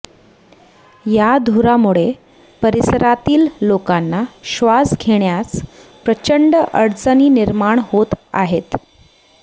या धुरामुळे परिसरातील लोकांना श्वास घेण्यास प्रचंड अडचणी निर्माण होत आहेत